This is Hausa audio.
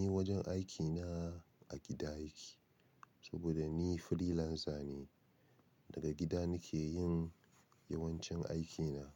Ni wajen aikina a gida yake. Saboda ni freelancer ne, daga gida nake yin yawancin aikina.